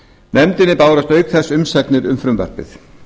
nefndinni bárust auk þess umsagnir um frumvarpið